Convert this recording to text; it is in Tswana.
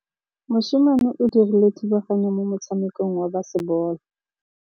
Mosimane o dirile thubaganyô mo motshamekong wa basebôlô.